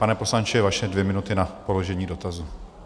Pane poslanče, vaše dvě minuty na položení dotazu.